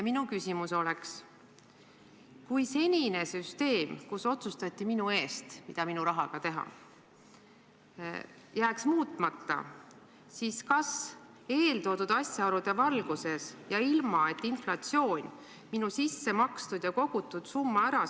Minu küsimus on: kui senine süsteem, mille korral otsustatakse minu eest, mida minu rahaga teha, jääks muutmata, siis kas eeltoodud asjaolude valguses oleks mul üldse lootust mingile tuntavale täiendavale pensionisummale?